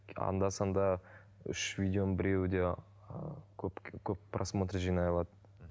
анда санда үш видеоның біреуі де ыыы көп көп просмотр жинай алады